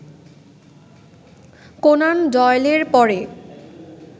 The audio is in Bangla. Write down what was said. কোনান ডয়েলের পরে